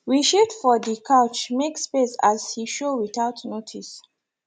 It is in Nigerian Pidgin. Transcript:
we shift for the couch make space as he show without notice